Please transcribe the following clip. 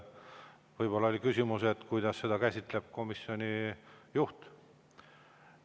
Võib-olla oli küsimus selles, kuidas seda käsitleb komisjoni juht.